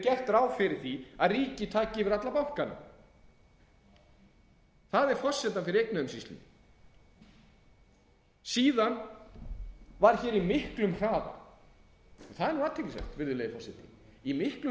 gert ráð fyrir því að ríkið taki yfir alla bankana það er forsendan fyrir eignaumsýslunni síðan var í miklum hraða og það er athyglisvert virðulegi forseti í miklum hraða